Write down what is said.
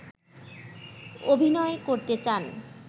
অভিনয় করতে চান